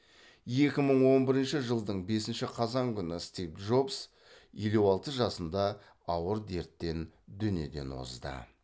екі мың он бірінші жылдың бесінші қазан күні стив джобс елу алты жасында ауыр дерттен дүниеден озды